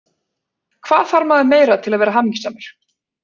Hvað þarf maður meira til að vera hamingjusamur?